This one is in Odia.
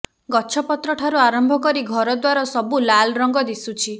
ଗଛପତ୍ର ଠାରୁ ଆରମ୍ଭ କରି ଘରଦ୍ବାର ସବୁ ଲାଲରଙ୍ଗ ଦିଶୁଛି